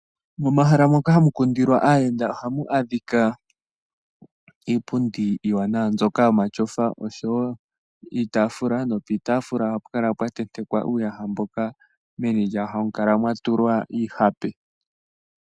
Momahala moka hamu kundilwa aayenda ohamu adhika iipundi iiwanawa mbyoka yomatyofa oshowo iitaafula, nopiitaafula ohapu kala pwa tentekwa uuyaha mboka meni lyawo hamu kala mwa tulwa iihape.